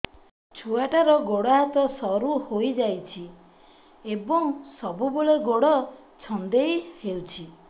ଛୁଆଟାର ଗୋଡ଼ ହାତ ସରୁ ହୋଇଯାଇଛି ଏବଂ ସବୁବେଳେ ଗୋଡ଼ ଛଂଦେଇ ହେଉଛି